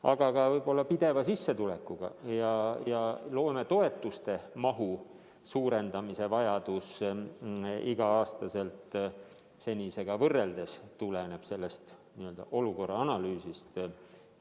Aga võib-olla ka pideva sissetuleku ja loometoetuste mahu iga-aastase suurendamise vajadus senisega võrreldes tuleneb sellest n-ö olukorra analüüsist.